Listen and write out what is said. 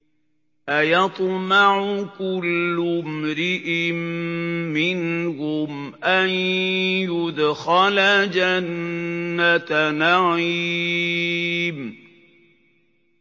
أَيَطْمَعُ كُلُّ امْرِئٍ مِّنْهُمْ أَن يُدْخَلَ جَنَّةَ نَعِيمٍ